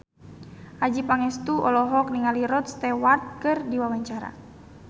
Adjie Pangestu olohok ningali Rod Stewart keur diwawancara